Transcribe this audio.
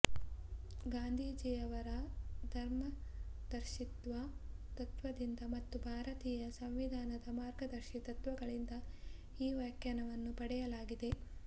ಗಾಂಧೀಜಿಯವರ ಧರ್ಮದರ್ಶಿತ್ವ ತತ್ವದಿಂದ ಮತ್ತು ಭಾರತೀಯ ಸಂವಿಧಾನದ ಮಾರ್ಗದರ್ಶಿ ತತ್ವಗಳಿಂದ ಈ ವ್ಯಾಖ್ಯಾನವನ್ನು ಪಡೆಯಲಾಗಿದೆ